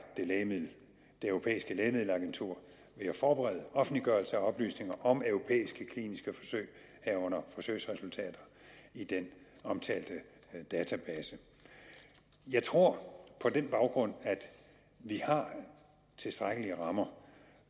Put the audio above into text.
det europæiske lægemiddelagentur ved at forberede offentliggørelse af oplysninger om europæiske kliniske forsøg herunder forsøgsresultater i den omtalte database jeg tror på den baggrund at vi har tilstrækkelige rammer